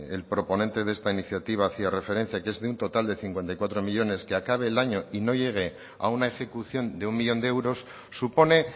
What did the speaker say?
el proponente de esta iniciativa hacía referencia que es de un total de cincuenta y cuatro millónes que acabe el año y no llegue a una ejecución de un millón de euros supone